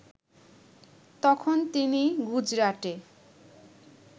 তখন তিনি গুজরাটে